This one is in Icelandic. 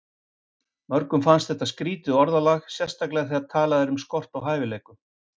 Mörgum finnst þetta skrýtið orðalag, sérstaklega þegar talað er um skort á hæfileikum.